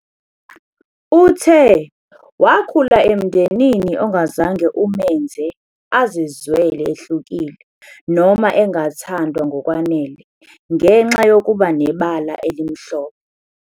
Uthe wakhula emndenini ongazange umenze azizwele ehlukile noma engathandwa ngokwanele ngenxa yokuba nebala elimhlophe.